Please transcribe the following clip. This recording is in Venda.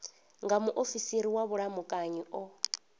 nga muofisiri wa vhulamukanyi o